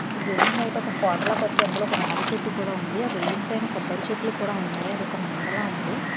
ఈ బిల్డింగ్ బయట ఒక కోటల కట్టి అందులో ఒక రాగి చెట్టు కూడా ఉంది ఆ బిల్డింగ్ పైన కొబ్బరి చెట్లు కూడా ఉన్నాయి అదొక మెడలో ఉంది.